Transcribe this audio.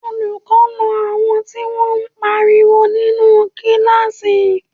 Olùkọ́ na àwọn tí wọ́n pariwo nínú kíláàsì